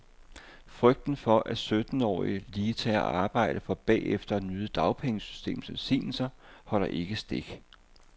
Frygten for, at syttenårige lige tager arbejde for bagefter at nyde dagpengesystemets velsignelser, holder ikke stik.